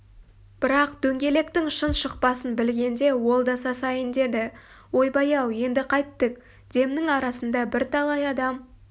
бірақ дөңгелектің шын шықпасын білгенде ол да сасайын деді ойбай-ау еңді қайттік демнің арасында бірталай адам